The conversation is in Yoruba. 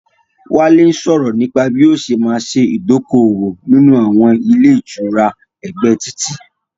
Wálé ń sọrọ̀ nípa bí ó ṣé ma ṣe idoko-owo nínú àwọn ilé ìtura ẹgbẹ́ títì